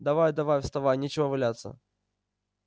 давай давай вставай нечего валяться